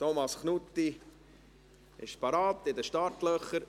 Thomas Knutti ist bereits in den Startlöchern.